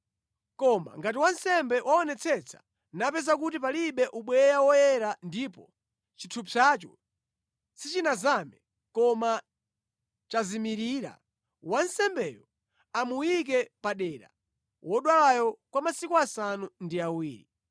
Koma ngati wansembe waonetsetsa napeza kuti palibe ubweya woyera ndipo chithupsacho sichinazame, koma chazimirira, wansembeyo amuyike padera wodwalayo kwa masiku asanu ndi awiri.